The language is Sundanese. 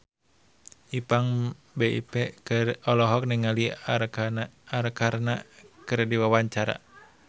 Ipank BIP olohok ningali Arkarna keur diwawancara